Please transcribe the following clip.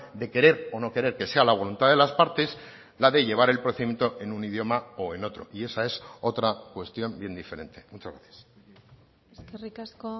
de querer o no querer que sea la voluntad de las partes la de llevar el procedimiento en un idioma o en otro y esa es otra cuestión bien diferente muchas gracias eskerrik asko